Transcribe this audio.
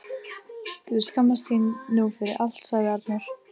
Þú skammast þín nú fyrir allt, sagði Arnór.